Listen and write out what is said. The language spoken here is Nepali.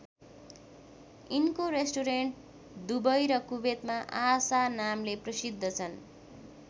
यिनको रेस्टुरेन्ट दुबई र कुवेतमा आशा नामले प्रसिद्ध छन्।